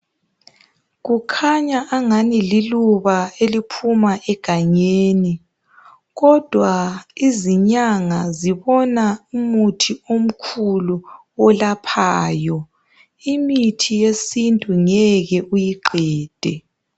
Kukhanya angani liluba eliphuma egangeni kodwa izinyanga zibona umuthi omkhulu olaphayo , imithi yesintu ngeke uyiqede